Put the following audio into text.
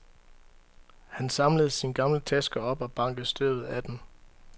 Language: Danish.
Han samlede sin gamle taske op og bankede støvet af den.